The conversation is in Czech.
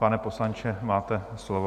Pane poslanče, máte slovo.